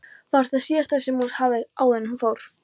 var það síðasta sem hún sagði áður en hún fór.